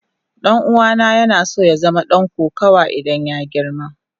Dan'uwana yana so ya zama dan kokawa idan ya girma.